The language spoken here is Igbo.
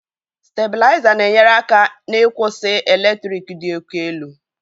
Stabilizer na-enyere aka n'ịkwụsị eletrik dị òkè elu.